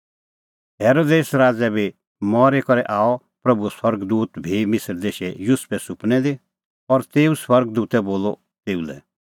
हेरोदेस राज़ै मरी करै आअ प्रभूओ स्वर्ग दूत भी मिसर देशै युसुफे सुपनै दी और तेऊ स्वर्ग दूतै बोलअ तेऊ लै